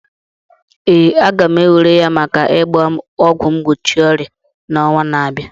Ee, a ga m ewere ya maka ịgba ọgwụ mgbochi ọrịa n'ọnwa na abịa.